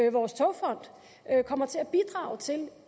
at vores togfond kommer til at bidrage til